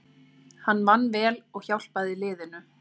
Hann vann vel og hjálpaði liðinu